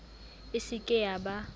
e se ke ya ba